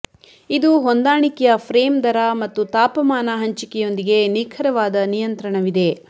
ಇದು ಹೊಂದಾಣಿಕೆಯ ಫ್ರೇಮ್ ದರ ಮತ್ತು ತಾಪಮಾನ ಹಂಚಿಕೆಯೊಂದಿಗೆ ನಿಖರವಾದ ನಿಯಂತ್ರಣವಿದೆ